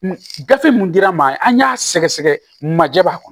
Gafe mun dira maa an y'a sɛgɛsɛgɛ maja b'a kɔnɔ